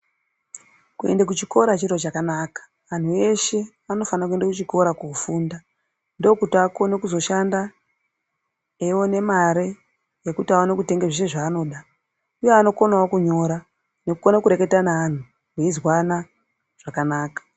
Kuende kuchikora chiro chakanaka anhu eshe anofane kuende kuchikora kofunda ndokuti akonekizoshanda eyiwone mare yekutu awane kutenga zviro zvaanoda uye anokonawo kunyora nekukone kureketa neanhu meyizwanq zvakanaka.